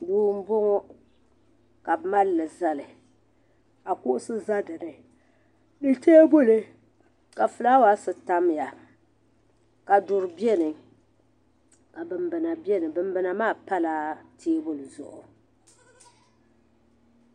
Duu mbɔŋɔ ka bi malili zali ka kuɣisi za di ni ni tɛɛbuli ka flawasi tamya ka duri bɛni ka binbina bɛni binbina maa pa la tɛɛbuli Zuɣu.